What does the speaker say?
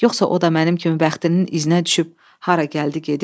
Yoxsa o da mənim kimi bəxtinin izininə düşüb hara gəldi gedir?